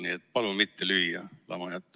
Nii et palun mitte lüüa lamajat.